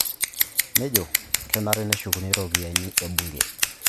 Nejo kenare peyie eshukuni iropiyiani e ebunke